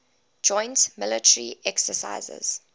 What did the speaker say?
joint military exercises